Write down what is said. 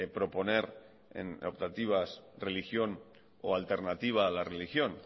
proponer en optativas religión o alternativa a la religión